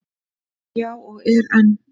Já, og er enn.